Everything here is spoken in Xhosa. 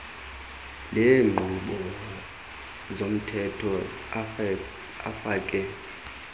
leenkqubo zomthetho afake